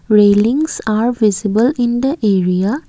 railings are visible in the area.